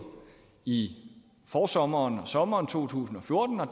i forsommeren og sommeren to tusind og fjorten og